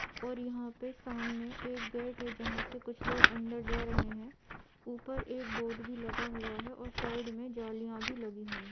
और यहाँ पे सामने एक गेट है जहाँ से कुछ लोग अंदर जा रहे हैं। ऊपर एक बोर्ड भी लगा हुआ है और साइड में जालियाँ भी लगी हुई है।